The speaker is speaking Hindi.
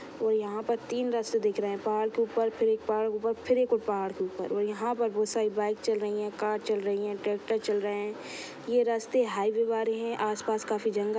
ओर यहाँ पर तीन रास्ते दिख रहे है पहाड़ के ऊपर फिर एक पहाड़ के ऊपर फिर एक और पहाड़ के ऊपर और यहाँ पर बहुत सारी बाइक चल रही है कार चल रही है ट्रैक्टर चल रहे है ये रस्ते हाईवे बारे है आसपास काफी जंगल --